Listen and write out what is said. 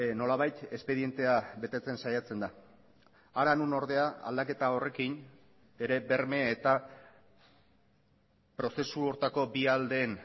nolabait espedientea betetzen saiatzen da hara non ordea aldaketa horrekin ere berme eta prozesu horretako bi aldeen